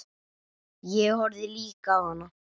Ég horfði líka á hana.